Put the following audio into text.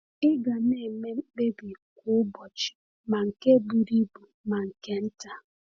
Ị ga na-eme mkpebi kwa ụbọchị, ma nke buru ibu ma nke nta.